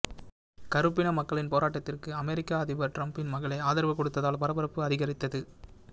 கருப்பின மக்களின் போராட்டத்திற்கு அமெரிக்க அதிபர் டிரம்பின் மகளே ஆதரவு கொடுத்ததால் பரபரப்பு அதிகரித்தது